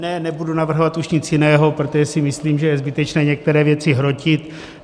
Ne, nebudu navrhovat už nic jiného, protože si myslím, že je zbytečné některé věci hrotit.